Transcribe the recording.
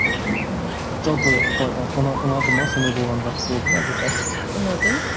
ммм жалпы қалай ұнады ма сондай болғаны жақсы болды ма әлде қалай ұнады